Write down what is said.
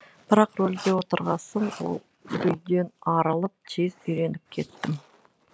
бірақ рөлге отырғасын ол үрейден арылып тез үйреніп кеттім